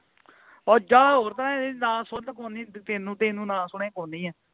ਔਹ ਜਾਹ ਹੋਰ ਤਰ੍ਹਾਂ ਦੀ ਨਾ ਸੁਣਨ ਕੋਈ ਨਹੀਂ ਤੈਨੂੰ ਤੈਨੂੰ ਨਾ ਸੁਣੇ ਕੋਈ ਨਹੀਂ ਹਾਂ